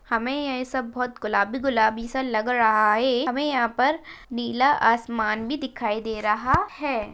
हमे ये सब बहुत गुलाबी-गुलाबी सा लग रहा है। हमे यहा पर नीला आसमान भी दिखाई दे रहा है।